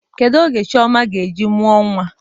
Kedụ oge Chioma ga-eji mụọ nwa?